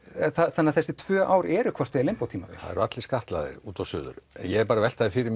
þannig að þessi tvö ár eru hvort eð er limbó tímabil það eru allir skattlagðir út og suður en ég er bara að velta því fyrir